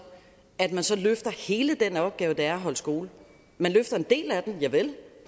at man så løfter hele den opgave det er at holde skole man løfter en del af den javel